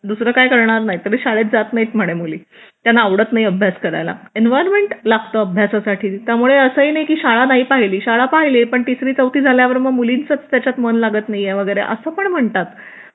दुसरा काही करणार नाही तरी शाळेत जात नाहीत म्हणे मुली त्यांना आवडत नाही अभ्यास करायला एन्व्हायरमेंट लागतं अभ्यासासाठी त्यामुळे असं नाही की त्यांनी शाळा नाही पाहिली शाळा पाहिले पण तिसरी चौथीत झाल्यावर मुलींची त्याच्यात मन लागत नाहीये वगैरे असं पण म्हणतात